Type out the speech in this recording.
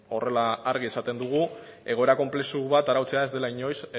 horrela argi esaten dugu egoera konplexu bat arautzea ez dela inoiz